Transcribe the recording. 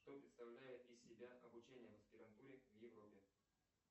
что представляет из себя обучение в аспирантуре в европе